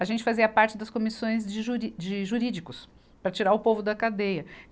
A gente fazia parte das comissões de juri, de jurídicos, para tirar o povo da cadeia.